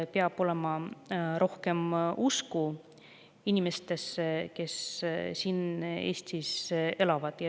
Peab olema rohkem usku inimestesse, kes siin Eestis elavad.